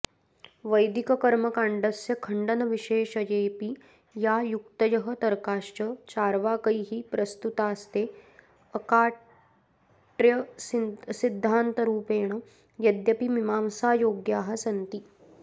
वैदिककर्मकाण्डस्य खण्डनविशेषयेऽपि या युक्तयः तर्काश्च चार्वाकैः प्रस्तुतास्ते अकाट्रयसिद्धान्तरूपेण अद्यपि मीमांसायोग्याः सन्ति